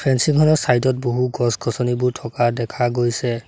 Fencing খনৰ side ত বহু গছ গছনিবোৰ থকা দেখা গৈছে।